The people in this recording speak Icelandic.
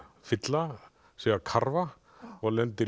fylla sig af karfa og lendir